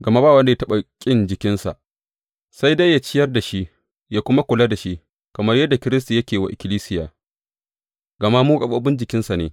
Gama ba wanda ya taɓa ƙin jikinsa, sai dai yă ciyar da shi, yă kuma kula da shi, kamar yadda Kiristi yake yi wa ikkilisiya, gama mu gaɓoɓin jikinsa ne.